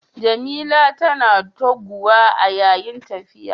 Jamila tana tugguwa a yayin tafiya.